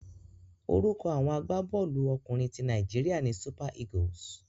Orúkọ àwọn agbábọ́ọ̀lú ọkùnrin ti Nàíjíríà ni Super Eagles.